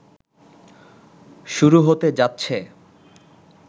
শুরু হতে যাচ্ছে